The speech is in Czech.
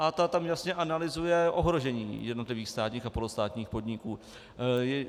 A ta tam jasně analyzuje ohrožení jednotlivých státních a polostátních podniků.